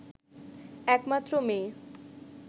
একমাত্র মেয়ে